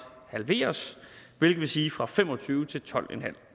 halveres hvilket vil sige fra fem og tyve til tolv